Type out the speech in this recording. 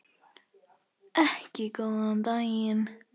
Ekki góðan daginn.